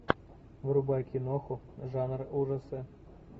врубай киноху жанр ужасы